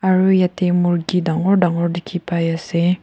Aro yatheh murgi dangor dangor dekhe pai ase.